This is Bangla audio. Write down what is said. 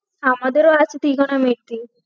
আমাদেরও আছে trigonometry